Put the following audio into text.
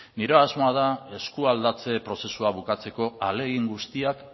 nire asmoa da eskualdatze prozesua bukatzeko ahalegin guztiak